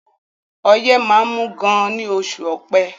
Ọyẹ́ máá ń mú gan ní oṣù ọpẹ́